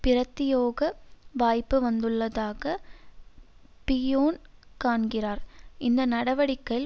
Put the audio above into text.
பிரத்தியோக வாய்ப்பு வந்துள்ளதாக பிய்யோன் காண்கிறார் இந்த நடவடிக்கை